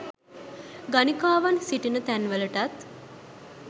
ගණිකාවන් සිටින තැන්වලටත්